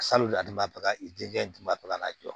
Salon i den dun ba ka na jɔ